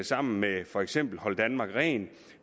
sammen med for eksempel hold danmark rent